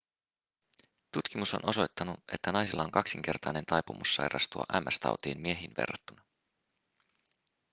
tutkimus on osoittanut että naisilla on kaksinkertainen taipumus sairastua ms-tautiin miehiin verrattuna